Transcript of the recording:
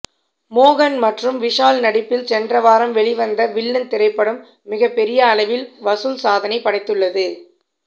மோகன் மற்றும் விஷால் நடிப்பில் சென்ற வாரம் வெளிவந்த வில்லன் திரைப்படம் மிகப்பெரிய அளவில் வசூல் சாதனை படைத்துள்ளது